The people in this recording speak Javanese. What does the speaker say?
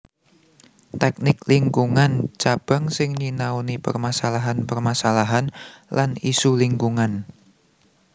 Tèknik Lingkungan Cabang sing nyinaoni permasalahan permasalahan lan isu lingkungan